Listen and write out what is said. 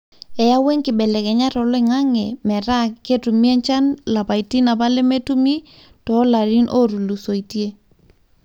eyaua enkibelekenyata oloingange metaa ketumi enchan lapaitin apa lemetumii to larin otulusoitie